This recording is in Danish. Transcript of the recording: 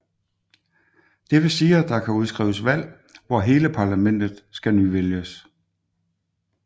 Det vil sige at der kan udskrives valg hvor hele parlamentet skal nyvælges